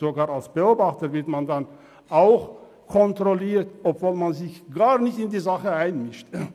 Sogar als Beobachter wird man kontrolliert, auch wenn man sich gar nicht in die Sache einmischt.